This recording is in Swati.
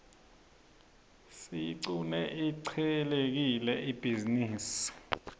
siyiqune ihcelekile ibhizinisi